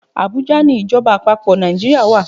Abuja ni Ìjọba àpapò Nàìjíríà wa.